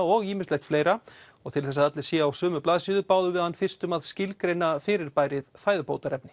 og ýmislegt fleira og til þess að allir séu á sömu blaðsíðu báðum við hann fyrst um að skilgreina fyrirbærið fæðubótarefni